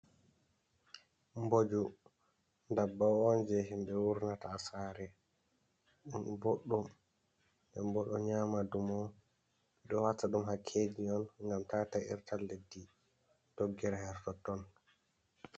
Mboju dabbawa on je himɓe wurnata ha sare, ɗum boɗɗum boɗum ɗo nyama dumo, ɓeɗo wata ɗum hakkeji on ngam tata irta leddi doggire hertotton.